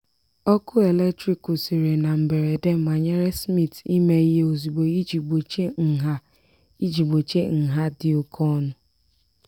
ọkụ eletrik kwụsịrị na mberede manyere smith ime ihe ozugbo iji gbochie nha iji gbochie nha dị oke ọnụ.